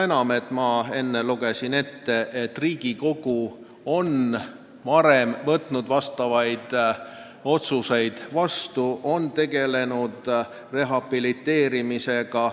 Ja ma enne märkisin, et Riigikogu on varem teinud selliseid otsuseid, on tegelenud rehabiliteerimisega.